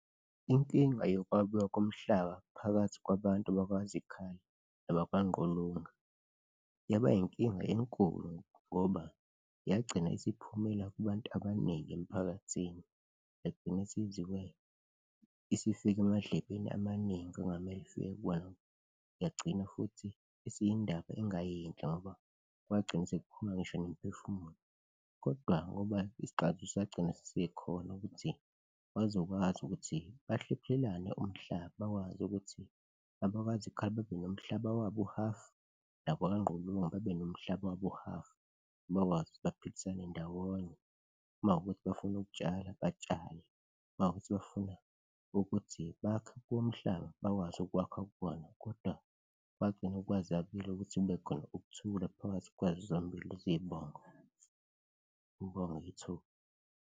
Inkinga yokwabiwa komhlaba phakathi kwabantu bakwaZikhali noma kwaNgqulunga yaba inkinga enkulu ngoba yagcina isiphumela kubantu abaningi emphakathini, yagcina isifika emadlebeni amaningi okungamele ifike kuwona yagcina futhi isiyindaba engayinhle ngoba kwagcine sekuphuma ngisho nemiphefumulo. Kodwa ngoba isixazululo sagcina sesikhona ukuthi bazokwazi ukuthi bahlephulelane umhlaba, bakwazi ukuthi laba bakwaZikhali babe nomhlaba wabo u-half nabakwaNgqulunga babe nomhlaba wabo u-half, bakwazi ukuthi baphilisane ndawonye, uma kuwukuthi bafuna ukutshala batshale, uma kuwukuthi bafuna ukuthi bakhe kuwo umhlaba bakwazi ukwakha kuwona kodwa kwagcine kwazekile ukuthi kube khona ukuthula phakathi kwazo zombili lezi zibongo. Ngibonge ithuba.